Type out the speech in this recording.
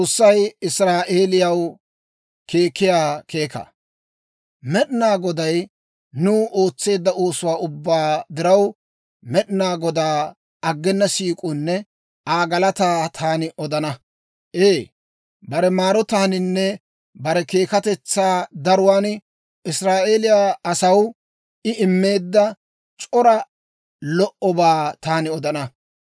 Med'inaa Goday nuw ootseedda oosuwaa ubbaa diraw, Med'inaa Godaa aggena siik'uwaanne Aa galataa taani odana; ee, bare maarotaaninne bare keekatetsaa daruwaan Israa'eeliyaa asaw I immeedda c'ora lo"obaa taani odana.